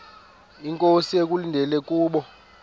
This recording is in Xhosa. inkosi ekulindele kubo